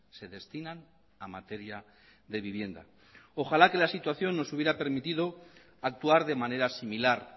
se destinan a materia de vivienda ojalá que la situación nos hubiera permitido actuar de manera similar